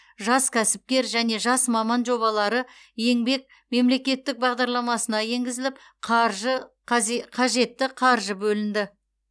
жас кәсіпкер және жас маман жобалары еңбек мемлекеттік бағдарламасына енгізіліп қаржы қажетті қаржы бөлінді